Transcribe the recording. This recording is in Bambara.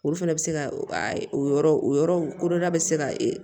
Olu fana bɛ se ka o yɔrɔ o yɔrɔ kodɔla bɛ se ka